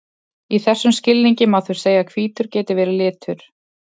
Í þessum skilningi má því segja að hvítur geti verið litur.